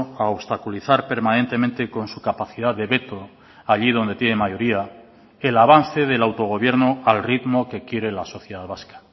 a obstaculizar permanentemente con su capacidad de veto allí donde tiene mayoría el avance del autogobierno al ritmo que quiere la sociedad vasca